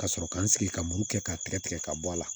Ka sɔrɔ ka n sigi ka muru kɛ k'a tigɛ tigɛ ka bɔ a la